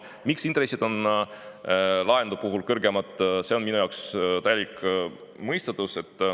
Miks intressid on laenude puhul kõrgemad, see on minu jaoks täielik mõistatus.